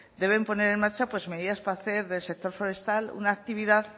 deben poner en marcha medidas para hacer del sector forestal una actividad